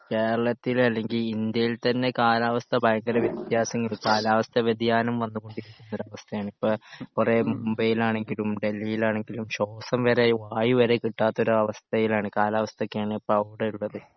കേരളത്തിൽ അല്ലെങ്കിൽ ഇന്ത്യയിൽ തന്നെ കാലാവസ്ഥ ഭയങ്കര വ്യത്യാസം ഇങ്ങനെ കാലാവസ്ഥ വ്യതിയാനം വന്നുകൊണ്ടിരിക്കുന്നൊരു അവസ്ഥയാണിപ്പോ കൊറേ മുംബൈയിലാണെങ്കിലും ഡൽഹിയിലാണെങ്കിലും ശ്വാസം വരെ വായു വരെ കിട്ടാത്തൊരു അവസ്ഥയിലാണ് കാലാവസ്ഥയൊക്കെയാണ് ഇപ്പോ അവിടെയുള്ളത്